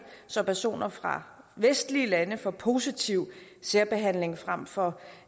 så personer fra vestlige lande får positiv særbehandling frem for